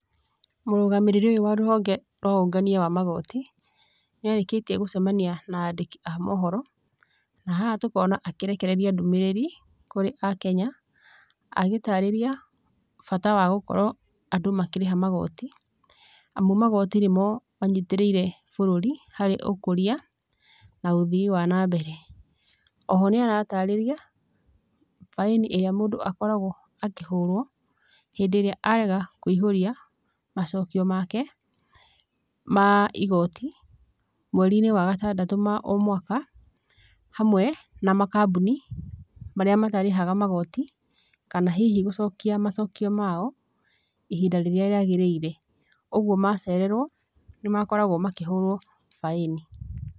Mũrũgamĩrĩri ũyũ wa rũhonge rwa ũngania wa magoti, nĩarĩkĩtie gũcemania na andĩki a mohoro, na haha tũkona akĩrekereria ndũmĩrĩri, kũrĩ akenya, agĩtarĩria, bata, wa gũkorũo andũ makĩrĩha magoti, amu magoti nĩmo manyitĩrĩire bũrũri, harĩ ũkũria, na ũthii wa nambere. Oho nĩaratarĩria, baĩni ĩrĩa mũndũ akoragũo akĩhũrũo, hĩndĩrĩa arega kũihũria, macokio make, ma igoti, mwerinĩ wa gatandatũ ma omwaka, hamwe, na makambuni marĩa matarĩhaga magoti, kana hihi gũcokia macokio mao, ihinda rĩrĩa rĩagĩrĩire. Ũguo macererũo, nĩmakoragũo makĩhũrũo baĩni.